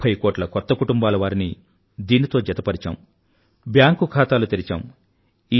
ముఫ్ఫై కోట్ల కొత్త కుటుంబాలవారిని దీనితో జతపరిచాం బ్యాంక్ ఖాతాలు తెరిచాం